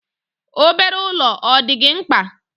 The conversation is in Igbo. Obere ụlọ ọ dị gị mkpa?